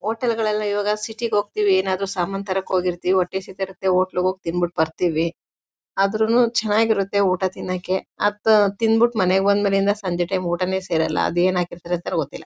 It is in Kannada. ಹೋಟೆಲ್ ಗಳೆಲ್ಲ ಇವಾಗ ಸಿಟಿ ಗೆ ಹೋಗ್ತಿವಿ ಏನಾದ್ರು ಸಾಮಾನು ತರಕ್ಕೆ ಹೋಗಿರ್ತಿವಿ ಹೊಟ್ಟೆ ಹಸಿತ ಇರುತ್ತೆ ಹೋಟೆಲ್ ಗೆ ಹೋಗಿ ತಿಂದ್ ಬಿಟ್ಟು ಬರ್ತೀವಿ ಆದ್ರೂನು ಚೆನ್ನಾಗಿರುತ್ತೆ ಊಟ ತಿನ್ನಕೆ ಅತ್ ತಿನ್ ಬಿಟ್ಟು ಮನೆಗೆ ಬಂದ್ ಮೇಲಿಂದ ಸಂಜೆ ಟೈಮ್ ಊಟಾನೇ ಸೇರಲ್ಲ ಅದೇನು ಹಾಕಿರ್ತಾರೋ ಗೊತ್ತಿಲ್ಲ.